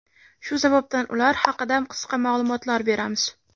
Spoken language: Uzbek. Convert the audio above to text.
Shu sababdan ular haqida qisqa ma’lumotlar beramiz.